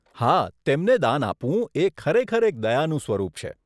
હા, તેમને દાન આપવું એ ખરેખર એક દયાનું સ્વરૂપ છે.